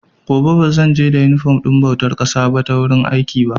Gobe ba zan je da inifom ɗin bautar ƙasa ta wurin aiki ba.